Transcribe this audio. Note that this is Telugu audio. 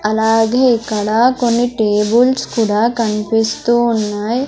అలాగే ఇక్కడ కొన్ని టేబుల్స్ కూడా కనిపిస్తూ ఉన్నాయ్.